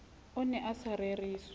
o ne a sa reriswa